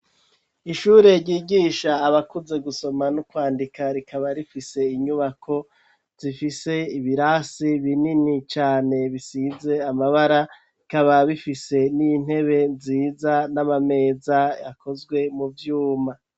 Ishure, ryigisha abakuze, gusoma n'ukwandika, rikaba rifise inyubako, zifise ibirasi binini cane, bisize amabara; bikaba bifise n'intebe nziza, n'amameza, akozwe mu vyuma.